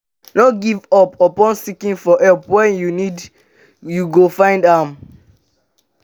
no give up on seeking for help when you need you go find am